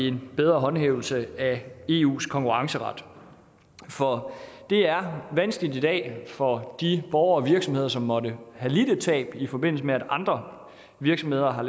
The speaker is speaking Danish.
en bedre håndhævelse af eus konkurrenceret for det er vanskeligt i dag for de borgere og virksomheder som måtte have lidt et tab i forbindelse med at andre virksomheder har